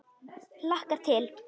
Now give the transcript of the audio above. Hlakkar til.